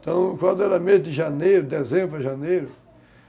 Então, quando era mês de janeiro, dezembro para janeiro,